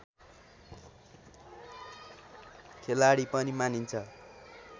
खेलाडी पनि मानिन्छ